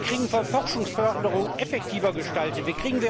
Wie können wir Forschungsförderung effektiver gestalten?